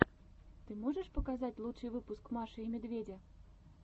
ты можешь показать лучший выпуск маши и медведя